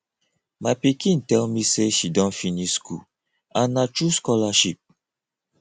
my pikin tell me say she don finish school and na through scholarship